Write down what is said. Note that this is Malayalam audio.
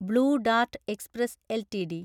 blue Dart Express LTD